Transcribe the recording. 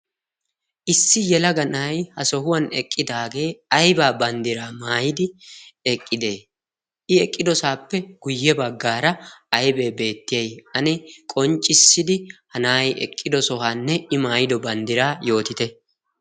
ssi yelaga na'ay ha sohuwan eqqidaagee aybaa banddiraa maayidi eqqidee i eqqidosaappe guyye baggaara aybee beettiyay? ani qonccissidi hanaai eqqido sohaanne i maayido banddiraa yootite?